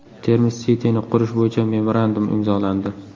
Termiz City’ni qurish bo‘yicha memorandum imzolandi.